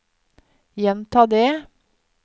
gjenta det